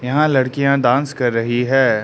यहां लड़कियां डांस कर रही हैं।